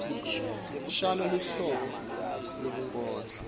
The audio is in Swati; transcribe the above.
shano luhlobo lwebunkondlo